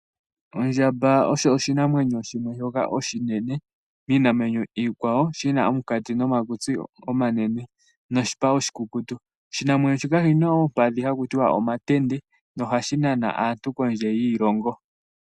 Ondjamba osho oshinamwenyo shimwe shoka oshinene miinamwenyo iikwawo shi na omunkati nomakutsi omanene noshipa oshikukutu. Oshinamwenyo shika oshi na oompadhi haku tiwa omatende nohashi nana aantu kondje yiilongo.